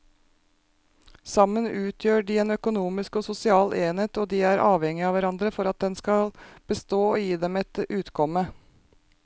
Sammen utgjør de en økonomisk og sosial enhet og de er avhengige av hverandre for at den skal bestå og gi dem et utkomme.